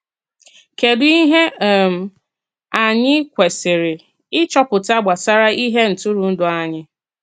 Kédù ihe um anyị kwesiri ịchọpụta gbasara ihe ntụrụndụ anyị?